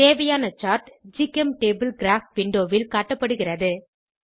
தேவையான சார்ட் ஜிசெம்டபிள் கிராப் விண்டோவில் காட்டப்படுகிறது